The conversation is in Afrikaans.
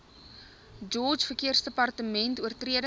george verkeersdepartement oortredings